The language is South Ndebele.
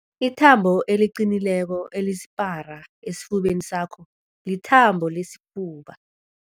Ithambo eliqinileko elisipara esifubeni sakho lithambo lesifuba.